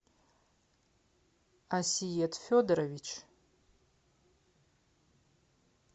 асиет федорович